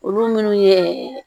Olu minnu ye